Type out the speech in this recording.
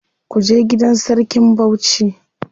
Kuje gidan sarkin Bauchi.